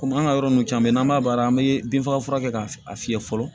Komi an ka yɔrɔ ninnu caman bɛ yen n'an b'a baara an bɛ bin faga fura kɛ k'a fiyɛ fɔlɔ